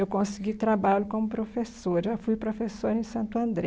Eu consegui trabalho como professora, já fui professora em Santo André.